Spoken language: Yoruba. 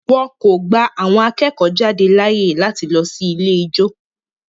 Wọn kò gba àwọn akẹ́kọ̀ọ́-jáde láàyè láti lọ sí ilé ijó.